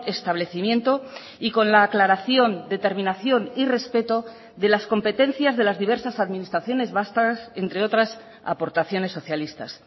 establecimiento y con la aclaración determinación y respeto de las competencias de las diversas administraciones vascas entre otras aportaciones socialistas